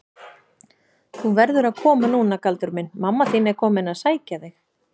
Þú verður að koma núna Galdur minn, mamma þín er komin að sækja þig.